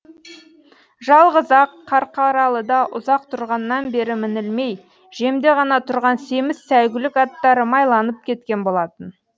жалғыз ақ қарқаралыда ұзақ тұрғаннан бері мінілмей жемде ғана тұрған семіз сәйгүлік аттары майланып кеткен болатын